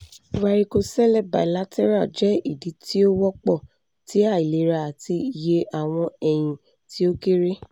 varicocele bilateral jẹ idi ti o wọpọ ti ailera ati iye awọn ẹyin ti o kere